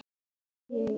Bjarni og Jónas.